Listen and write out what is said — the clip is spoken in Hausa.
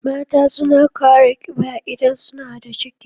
Mata suna kara ƙiba idan suna da ciki